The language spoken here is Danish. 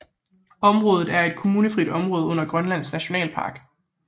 Området er et kommunefrit område under Grønlands Nationalpark